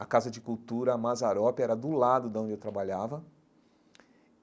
A Casa de Cultura, a Mazarópia, era do lado da onde eu trabalhava.